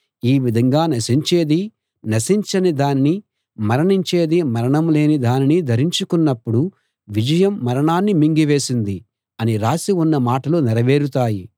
ఈ విధంగా నశించేది నశించని దానినీ మరణించేది మరణం లేని దానినీ ధరించుకొన్నప్పుడు విజయం మరణాన్ని మింగివేసింది అని రాసి ఉన్న మాటలు నెరవేరుతాయి